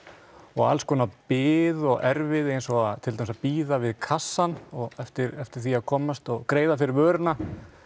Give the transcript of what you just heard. og alls konar bið og erfiði eins og til dæmis að bíða við kassann eftir eftir því að komast og greiða fyrir vöruna